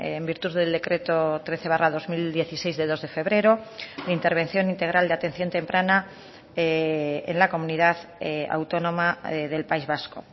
en virtud del decreto trece barra dos mil dieciséis de dos de febrero de intervención integral de atención temprana en la comunidad autónoma del país vasco